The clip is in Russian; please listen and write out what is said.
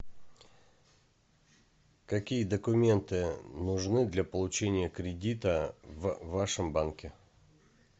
какие документы нужны для получения кредита в вашем банке